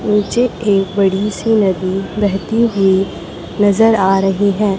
नीचे एक बड़ी सी नदी बहती हुई नजर आ रही हैं।